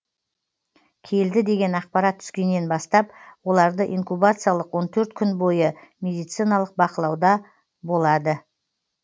келді деген ақпарат түскеннен бастап оларды инкубациялық он төрт күн бойы медициналық бақылауда болады олар